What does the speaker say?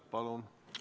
Palun!